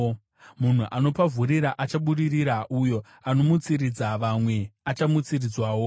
Munhu anopavhurira achabudirira; uyo anomutsiridza vamwe achamutsiridzwawo.